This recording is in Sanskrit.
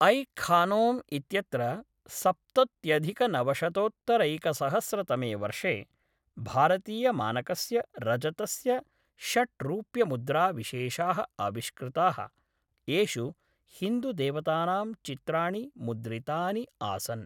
ऐ खानौम् इत्यत्र सप्तत्यधिकनवशतोत्तरैकसहस्रतमे वर्षे भारतीयमानकस्य रजतस्य षट् रुप्यमुद्राविशेषाः आविष्कृताः, येषु हिन्दुदेवतानां चित्राणि मुद्रितानि आसन्।